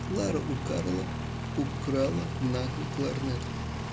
клара у карла украла нахуй кларнет